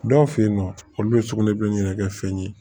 Dɔw fɛ yen nɔ olu bɛ sugunɛ bilenni ɲini kɛ fɛn ye